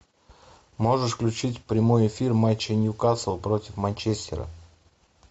можешь включить прямой эфир матча ньюкасл против манчестера